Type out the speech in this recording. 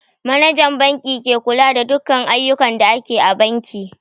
Manajan banki ke kula da dukan ayyukan da ake a banki